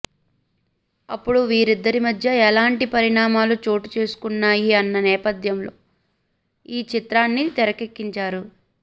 అప్పుడు వీరిద్దరి మధ్య ఎలాంటి పరిణామాలు చోటు చేసుకున్నాయి అన్న నేపథ్యంలో ఈ చిత్రాన్ని తెరకెక్కించారు